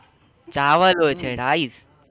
ચાવલ હોય છ rice